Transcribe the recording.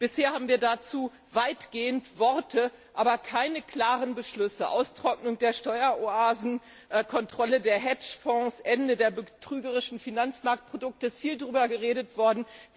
Bisher haben wir dazu weitgehend Worte, aber keine klaren Beschlüsse Austrocknung der Steueroasen, Kontrolle der Hedgefonds, Ende der betrügerischen Finanzmarktprodukte. Darüber ist viel geredet worden.